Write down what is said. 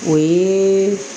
O ye